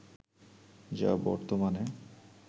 যা বর্তমানে